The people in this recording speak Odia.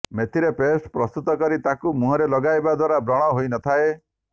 ମେଥିର ପେଷ୍ଟ ପ୍ରସ୍ତୁତ କରି ତାକୁ ମୁହଁରେ ଲଗାଇବା ଦ୍ବାରା ବ୍ରଣ ହୋଇ ନ ଥାଏ